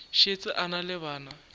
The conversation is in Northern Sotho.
šetše a na le bana